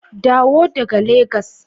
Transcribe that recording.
Dawo daga Legas!